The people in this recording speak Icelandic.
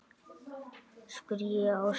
spurði ég Ásu.